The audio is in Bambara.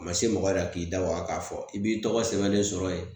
A ma se mɔgɔ yɛrɛ k'i da waga k'a fɔ i b'i tɔgɔ sɛbɛnlen sɔrɔ yen